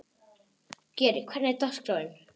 Geri, hvernig er dagskráin?